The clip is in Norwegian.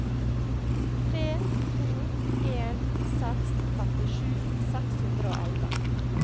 tre to en seks femtisju seks hundre og elleve